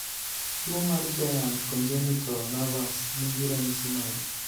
Tu mar giant congenital nevus ni gi ranyisi mage?